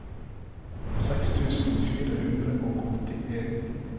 seks tusen fire hundre og åttien